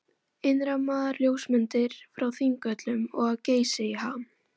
Innrammaðar ljósmyndir frá Þingvöllum og af Geysi í ham.